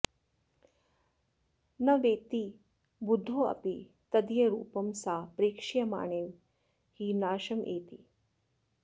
न वेत्ति बुद्धोऽपि तदीयरूपं सा प्रेक्ष्यमाणैव हि नाशमेति